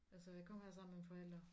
Altså jeg kom her sammen med mine forældre